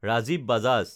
Rajiv Bajaj